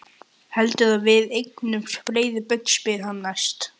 Heldurðu að við eignumst fleiri börn? spurði hann næst.